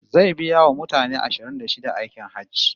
Zai biya wa mutane ashirin da shida aikin Hajji